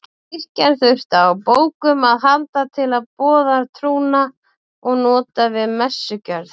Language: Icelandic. Kirkjan þurfti á bókum að halda til að boða trúna og nota við messugjörð.